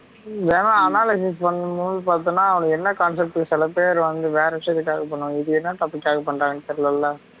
ஏன்னா analysis பண்ணும் போது பாத்தின்னா அவுங்க என்ன concept சில பேரு வந்து வேற விஷயத்துக்காக பண்ணுவங்க இது என்னா concept காக பண்றாங்கன்னு தெரிலல